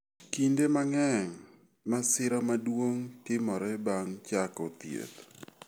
Kinde mang'eny, masira maduong ' timore bang ' chako thieth.